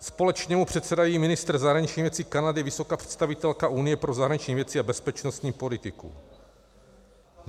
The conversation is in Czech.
Společně mu předsedají ministr zahraničních věcí Kanady, vysoká představitelka Unie pro zahraniční věci a bezpečnostní politiku.